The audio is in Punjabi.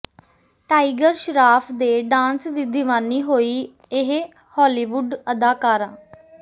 ਟਾਈਗਰ ਸ਼ਰਾਫ ਦੇ ਡਾਂਸ ਦੀ ਦੀਵਾਨੀ ਹੋਈ ਇਹ ਹਾਲੀਵੁਡ ਅਦਾਕਾਰਾ